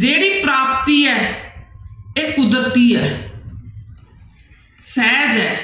ਜਿਹੜੀ ਪ੍ਰਾਪਤ ਹੈ ਇਹ ਕੁਦਰਤੀ ਹੈ ਸਹਿਜ ਹੈ